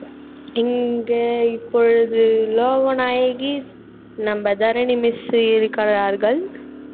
இங்கு இப்பொழுது லோகநாயகி நம்ம தரணி miss இருக்கிறார்கள்